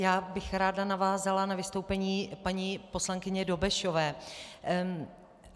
Já bych ráda navázala na vystoupení paní poslankyně Dobešové.